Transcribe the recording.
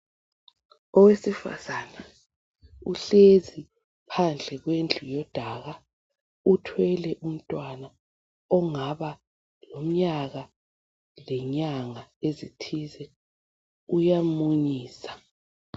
Owesifazana uhlezi phandle kwendlu yodaka uthwele umntwana ongaba lomnyaka lenyanga ezithithize uyamunyisa.